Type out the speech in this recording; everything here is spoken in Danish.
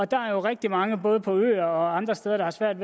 der er jo rigtig mange både på øer og andre steder der har svært